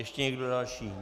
Ještě někdo další?